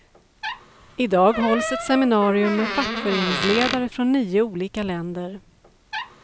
I dag hålls ett seminarium med fackföreningsledare från nio olika länder.